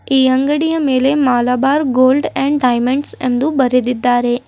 ಈ ಅಂಗಡಿಯ ಮೇಲೆ ಮಲಬಾರ್ ಗೋಲ್ಡ್ ಅಂಡ್ ಡೈಮಂಡ್ಸ್ ಎಂದು ಬರೆದಿದ್ದಾರೆ.